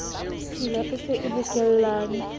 tshila e se e bokellane